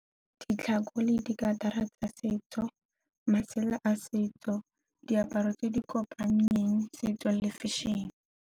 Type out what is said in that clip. Ditlhako le di tsa setso, masela a setso diaparo tse di kopanyang setso le fashion-e.